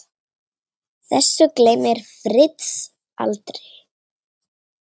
Þessu gleymir Fritz aldrei.